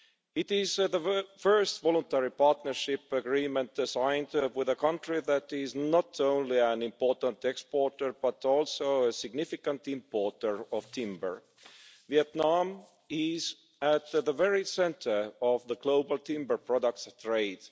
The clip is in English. It is the first voluntary partnership agreement signed with a country that is not only an important exporter but also a significant importer of timber. Vietnam is at the very centre of the global timber products trade.